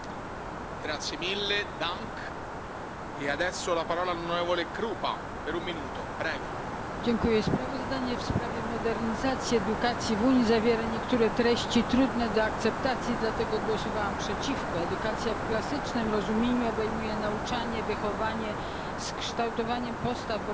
Panie Przewodniczący! Sprawozdanie w sprawie modernizacji edukacji w Unii zawiera niektóre treści trudne do akceptacji. Dlatego głosowałam przeciwko. Edukacja w klasycznym rozumieniu obejmuje nauczanie, wychowanie z kształtowaniem postaw wobec dobra i zła oraz profilaktykę.